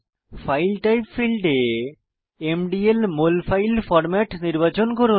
file type ফীল্ডে MDL molfile format নির্বাচন করুন